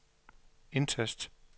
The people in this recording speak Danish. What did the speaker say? indtast